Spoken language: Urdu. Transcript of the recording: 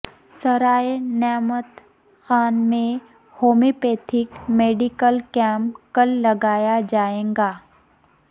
سرائے نعمت خان میں ہومیو پیتھک میڈیکل کیمپ کل لگایا جائے گا